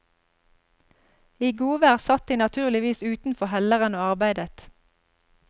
I godvær satt de naturligvis utenfor helleren og arbeidet.